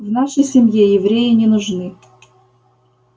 в нашей семье евреи не нужны